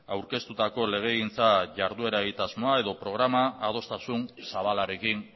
aurkeztutako legegintza jarduera egitasmoa edo programa adostasun zabalarekin